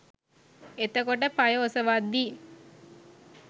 එතකොට පය ඔසවද්දි